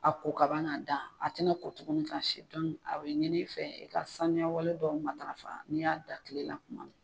A ko ka ban k'a da a tɛna ko tuguni ka si a bɛ ɲini i fɛ i ka sanuya wale dɔw matarafa n'i y'a da kile la kuma min na.